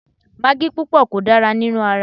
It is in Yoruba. Magí púpọ̀ kò dára nínú ara